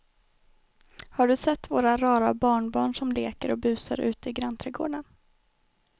Har du sett våra rara barnbarn som leker och busar ute i grannträdgården!